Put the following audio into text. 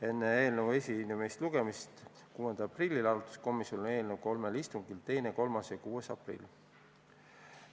Enne eelnõu esimest lugemist 6. aprillil arutas komisjon eelnõu kolmel istungil: 2., 3. ja 6. aprillil.